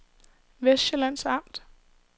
Vestsjællands Amt